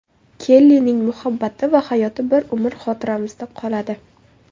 Kellining muhabbati va hayoti bir umr xotiramizda qoladi.